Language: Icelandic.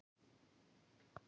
Slíkt er bannað með lögum